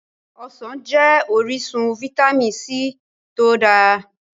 Ọsàn jẹ́ orísun Fitamin c tó dáa.